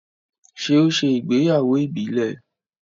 ṣe o ṣe ìgbéyàwó ìbílè?